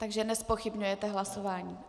Takže nezpochybňujete hlasování.